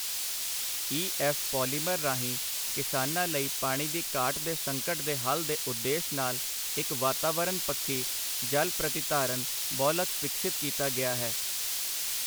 ਈ F polymer ਰਾਹੀਂ ਕਿਸਾਨਾਂ ਲਈ ਪਾਣੀ ਦੀ ਘਾਟ ਦੇ ਸੰਕਟ ਦੇ ਹੱਲ ਦੇ ਉਦੇਸ਼ ਨਾਲ ਇੱਕ ਵਾਤਾਵਰਨ ਪੱਖੀ ਜਲ ਪ੍ਰਤਿਧਾਰਨ ਬਹੁਲਕ ਵਿਕਸਿਤ ਕੀਤਾ ਗਿਆ ਹੈ।